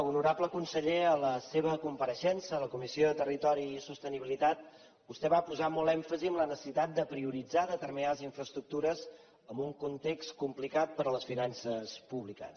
honorable conseller en la seva compareixença a la comissió de territori i sostenibilitat vostè va posar molt èmfasi en la necessitat de prioritzar determinades infraestructures en un context complicat per a les finances públiques